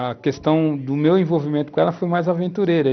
A questão do meu envolvimento com ela foi mais aventureira.